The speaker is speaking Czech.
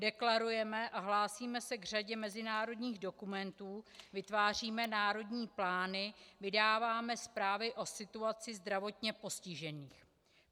Deklarujeme a hlásíme se k řadě mezinárodních dokumentů, vytváříme národní plány, vydáváme zprávy o situaci zdravotně postižených.